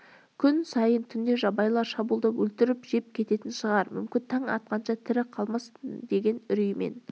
күн сайын түнде жабайылар шабуылдап өлтіріп жеп кететін шығар мүмкін таң атқанша тірі қалмаспын деген үреймен